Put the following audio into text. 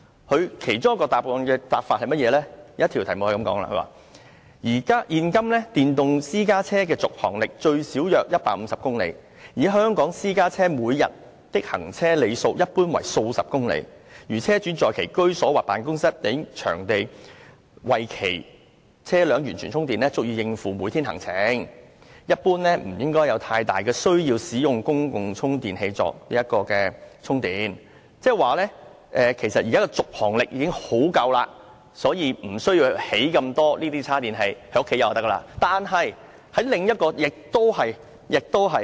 其中一項質詢的答覆是這樣的，"現今電動私家車的續航力最少約150公里，以私家車每天的行車里數一般為數十公里，如車主在其居所或辦公地方等場地為其車輛完全充電，應足以應付每天行程，一般不應有太大需要使用公共充電器作補充充電"，那即是說，現時的續航力已經十分充足，所以無須興建那麼多設有充電器的停車位，只要居所有充電設施便可以。